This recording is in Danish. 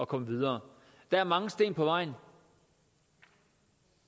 komme videre der er mange sten på vejen